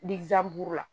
la